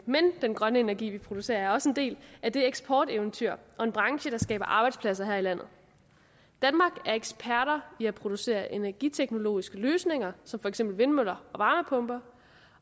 men den grønne energi vi producerer er også en del af et eksporteventyr og en branche der skaber arbejdspladser her i landet danmark er eksperter i at producere energiteknologiske løsninger som for eksempel vindmøller og varmepumper